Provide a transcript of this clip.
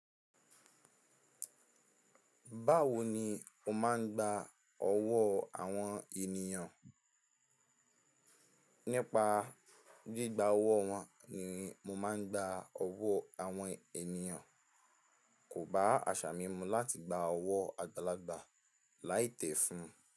Báwo ni o máa ń gba ọwọ́ àwọn ènìyàn? Nípa gbígba ọwọ́ wọn ni mo máa ń gba ọwọ́ àwọn ènìyàn. Kò bá àṣà mi mu láti gba ọwọ́ àgbàlagbà láì tẹ̀ fún un.